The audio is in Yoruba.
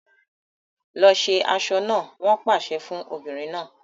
Lọ ṣe aṣọ náà! Wọn pàṣẹ fún obìnrin náà.